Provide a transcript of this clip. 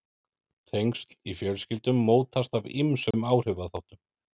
Tengsl í fjölskyldum mótast af ýmsum áhrifaþáttum.